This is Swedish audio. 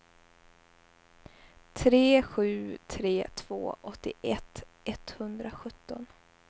tre sju tre två åttioett etthundrasjutton